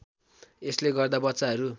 यसले गर्दा बच्चाहरू